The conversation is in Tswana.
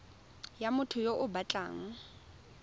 ya motho yo o batlang